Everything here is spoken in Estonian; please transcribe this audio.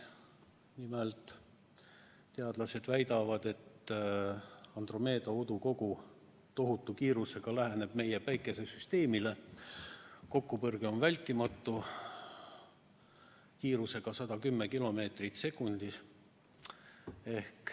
Nimelt, teadlased väidavad, et Andromeeda udukogu läheneb tohutu kiirusega meie Päikesesüsteemile, kokkupõrge on vältimatu, kiirus on 110 kilomeetrit sekundis.